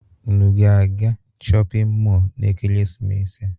Unu ga-aga shọpin mọọlụ n'ekeresimesi a?